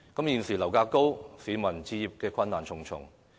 現時樓價高企，市民置業困難重重。